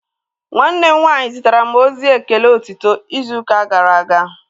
Nwanne m nwaanyị zitere m ozi ekele otito izu ụka gara aga